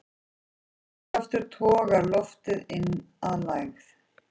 Þrýstikraftur togar loftið inn að lægð.